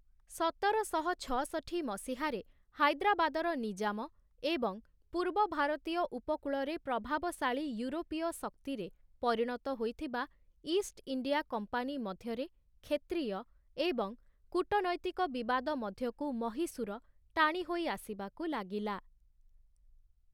ସତରଶହ ଛଅଷଠି ମସିହାରେ ହାଇଦ୍ରାବାଦର ନିଜାମ ଏବଂ ପୂର୍ବ ଭାରତୀୟ ଉପକୂଳରେ ପ୍ରଭାବଶାଳୀ ୟୁରୋପୀୟ ଶକ୍ତିରେ ପରିଣତ ହୋଇଥିବା ଇଷ୍ଟଇଣ୍ଡିଆ କମ୍ପାନୀ ମଧ୍ୟରେ କ୍ଷେତ୍ରୀୟ ଏବଂ କୂଟନୈତିକ ବିବାଦ ମଧ୍ୟକୁ ମହୀଶୂର ଟାଣି ହୋଇ ଆସିବାକୁ ଲାଗିଲା ।